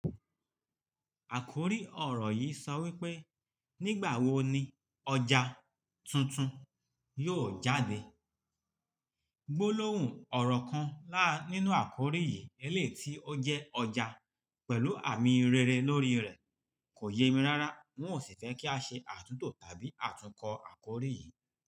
Àkòrí ọ̀rọ̀ yìí sọ wípé "Nígbàwo ni ọjà tuntun yóò jáde?" gbólóhùn ọ̀rọ̀ kan láá nínú àkòrí yìí, eléti ó jẹ́ ọjà pẹ̀lú àmì rere lórí rẹ̀ kò yé mi rárá. N ó sì fẹ́ kí a ṣe àtúntò tàbí àtúnkọ àkòrí yìí.